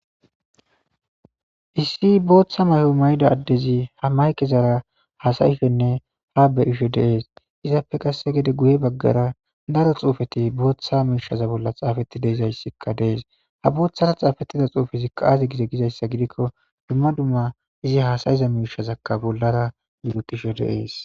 Issi booththa may7o mayda addezi ha maykezara hasayishenne ha be'isho deees izappe qasse gede guye baggara daro xuufeti booththa miishaza bolla xaafetti deizayssikka dees ha booththara xaafettida xuufezikkaaaze gize gizayssa gidikko dumma dumma izi haasayiza miishazakka bollara yugutisho deees.